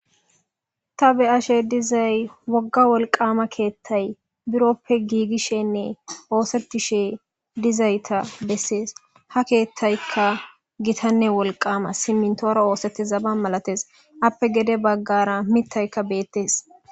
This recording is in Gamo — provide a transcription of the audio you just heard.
Ta beyashe dizay wogga wolqama keettay biroppe giigishenne oosettishe dizayta bessees ha keettaykka gitanne wolqama simintoora oosetti zaba malates appe gede baggara mittayka beettees